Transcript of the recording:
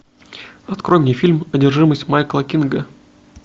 открой мне фильм одержимость майкла кинга